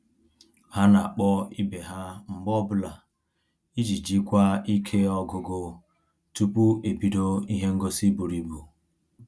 Ha na-akpọ ibe ha mgbe ọbụla iji jikwa ike ọgụgụ tupu ebido ihe ngosi bụrụ ibu